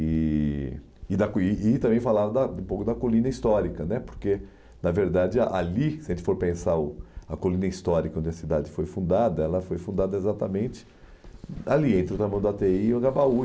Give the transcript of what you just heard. E e da e e também falava da um pouco da colina histórica né, porque, na verdade, ah ali, se a gente for pensar, a colina histórica onde a cidade foi fundada, ela foi fundada exatamente ali, entre o Tamanduatei e o Agabaú.